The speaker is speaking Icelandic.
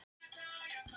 Holtabraut